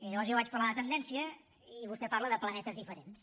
i llavors jo vaig parlar de tendència i vostè parla de planetes diferents